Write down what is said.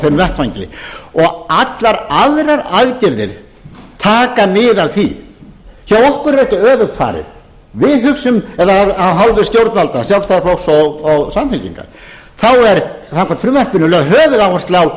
þeim vettvangi og allar aðrar aðgerðir taka mið af því hjá okkur er þessu öfugt farið við hugsum eða af hálfu stjórnvalda sjálfstæðisflokks og samfylkingar þá er samkvæmt frumvarpinu lögð höfuðáhersla á